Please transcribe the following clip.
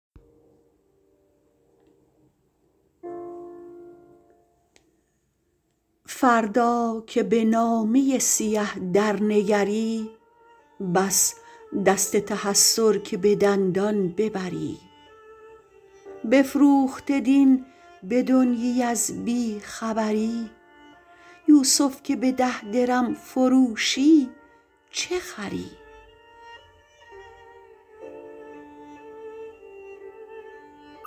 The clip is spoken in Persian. فردا که به نامه سیه درنگری بس دست تحسر که به دندان ببری بفروخته دین به دنیی از بیخبری یوسف که به ده درم فروشی چه خری